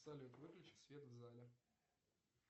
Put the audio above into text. салют выключи свет в зале